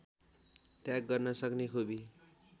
त्याग गर्न सक्ने खुबी